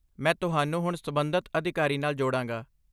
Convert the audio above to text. ਮੈਂ ਤੁਹਾਨੂੰ ਹੁਣ ਸਬੰਧਤ ਅਧਿਕਾਰੀ ਨਾਲ ਜੋੜਾਂਗਾ।